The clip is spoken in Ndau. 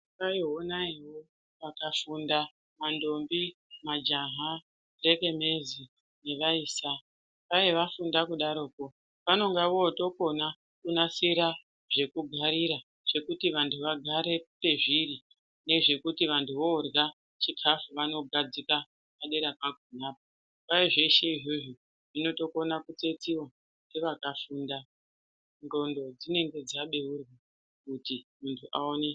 Honai honai pakafunda mandombi, majaha , nekenezi nevaisa dao vafunda kudaroko vanonga votokona kunasira zvekugarira zvekuti vantu vagare pezviri ngezvekuti vantu vorya chikafu vanogadzika padera pakona kwai zveshe izvozvo zvinotokona kuitiwa nevakafunda , ndxondo dzinenge dzabeurwa kuti muntu aone.